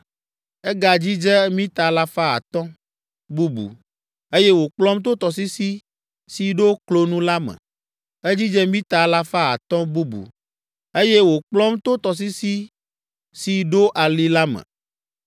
Egadzidze mita alafa atɔ̃ (500) bubu, eye wòkplɔm to tɔsisi si ɖo klonu la me. Edzidze mita alafa atɔ̃ (500) bubu, eye wòkplɔm to tɔsisi si ɖo ali la me.